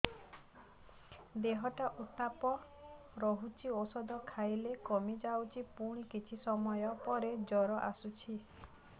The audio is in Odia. ଦେହର ଉତ୍ତାପ ରହୁଛି ଔଷଧ ଖାଇଲେ କମିଯାଉଛି ପୁଣି କିଛି ସମୟ ପରେ ଜ୍ୱର ଆସୁଛି